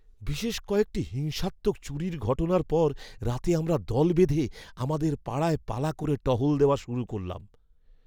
বিশেষ কয়েকটি হিংসাত্মক চুরির ঘটনার পর রাতে আমরা দল বেঁধে আমাদের পাড়ায় পালা করে টহল দেওয়া শুরু করলাম।